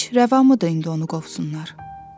Heç rəvamıdır indi onu qovsunlar?